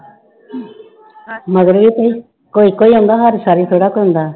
ਮਗਰ ਹੀ ਕੋਈ ਕੋਈ ਕੋਈ ਆਉਂਦਾ ਹਰ ਥੋੜ੍ਹਾ ਆਉਂਦਾ